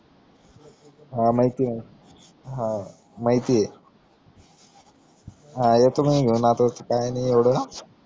हा माहितीये हा माहितिये हा येतो मी घेऊन असच काय नाई येवड